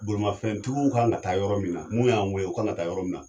Bolimafɛntigiw kan ka taa yɔrɔ min , n'u y'an wele u kan ka taa yɔrɔ min na.